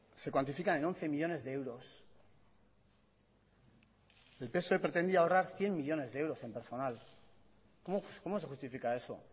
se cuantifican en once millónes de euros el psoe pretendía ahorrar cien millónes de euros en personal cómo se justifica eso